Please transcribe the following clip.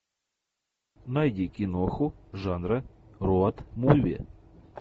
найди киноху жанра роад муви